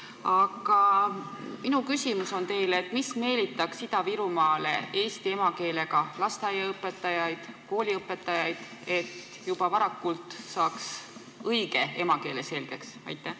Aga minu küsimus teile on see: mis meelitaks Ida-Virumaale eesti emakeelega lasteaiaõpetajaid ja kooliõpetajaid, et lapsed juba varakult saaksid õige eesti keele selgeks?